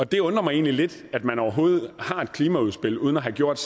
det undrer mig egentlig lidt at man overhovedet har et klimaudspil uden at have gjort